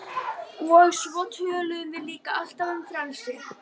Og svo töluðum við líka alltaf um frelsi.